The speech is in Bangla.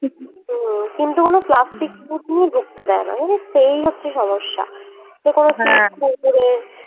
হম কিন্তু কোন plastic food নিয়ে ঢুকতে দেয় নাহ জানিস তো এই হচ্ছে সমস্যা যে কোনো